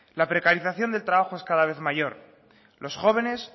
la precarización del trabajo es cada vez mayor los jóvenes